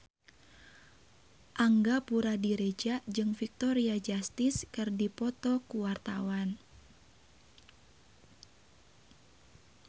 Angga Puradiredja jeung Victoria Justice keur dipoto ku wartawan